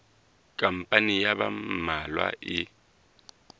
khampani ya ba mmalwa e